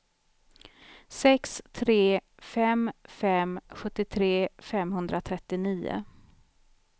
sex tre fem fem sjuttiotre femhundratrettionio